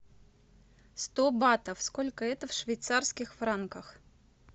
сто батов сколько это в швейцарских франках